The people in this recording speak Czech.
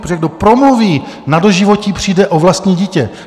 Protože kdo promluví, na doživotí přijde o vlastní dítě.